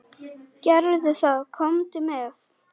Gerðu það, komdu með.